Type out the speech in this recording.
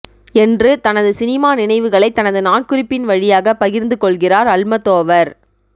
என்று தனது சினிமா நினைவுகளை தனது நாட்குறிப்பின் வழியாக பகிர்ந்து கொள்கிறார் அல்மதோவர்